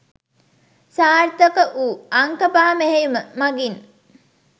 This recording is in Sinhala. සාර්ථක වූ "අංක පහ මෙහෙයුම" මගින්